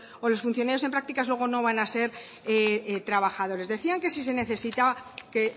o los funcionarios en prácticas luego no van a ser trabajadores decían que si se necesita que